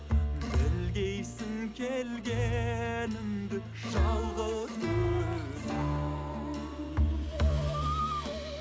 білгейсің келгенімді жалғыз өзім